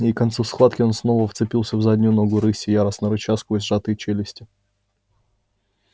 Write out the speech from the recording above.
и к концу схватки он снова вцепился в заднюю ногу рыси яростно рыча сквозь сжатые челюсти